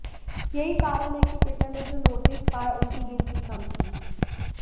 यही कारण है कि ट्विटर ने जो नोटिस पाए उनकी गिनती कम थी